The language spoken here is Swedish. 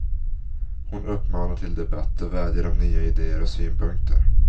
Hon uppmanar till debatt och vädjar om nya ideer och synpunkter.